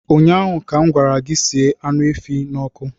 Ụnyaahụ ka m gwara gị, sie anụ efi a n'ọkụ!